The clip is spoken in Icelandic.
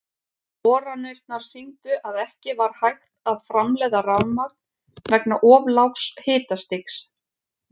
Boranirnar sýndu að ekki var hægt að framleiða rafmagn vegna of lágs hitastigs.